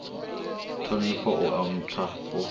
ṱhonifho u a nthwa u